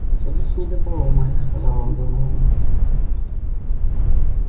садись на любого майк сказал он доновану